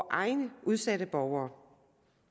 egne udsatte borgere